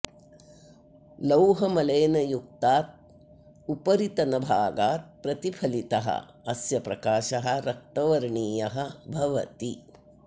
लौहमलेन युक्तात् उपरितनभागात् प्रतिफलितः अस्य प्रकाशः रक्तवर्णीयः भवति